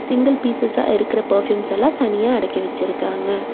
Single பீஸ்சஸ்சா இருக்குற perfumes எல்லா தனியா அடக்கி வெச்சுருக்காங்க.